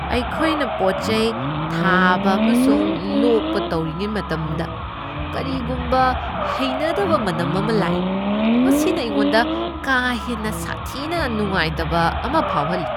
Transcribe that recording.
ꯑꯩꯈꯣꯏꯅ ꯄꯣꯠ ꯆꯩ ꯊꯥꯕ ꯑꯃꯁꯨꯡ ꯂꯣꯛꯄ ꯇꯧꯔꯤꯉꯩ ꯃꯇꯝꯗ ꯀꯔꯤꯒꯨꯝꯕ ꯍꯩꯅꯗꯕ ꯃꯅꯝ ꯑꯃ ꯂꯥꯛꯏ , ꯃꯁꯤꯅ ꯑꯩꯉꯣꯟꯗ ꯀꯥ ꯍꯦꯟꯅ ꯁꯥꯊꯤꯅ ꯅꯨꯡꯉꯥꯏꯇꯕ ꯑꯃ ꯐꯥꯎꯍꯜꯂꯤ꯫